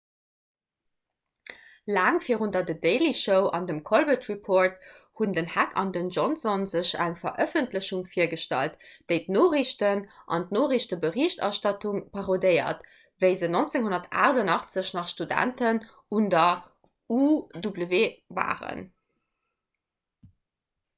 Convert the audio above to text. laang virun der the daily show an dem the colbert report hunn den heck an den johnson sech eng verëffentlechung virgestallt déi d'noriichten an d'noriichteberichterstattung parodéiert wéi se 1988 nach studenten un der uw waren